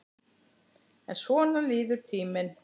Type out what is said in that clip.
En svona líður tíminn.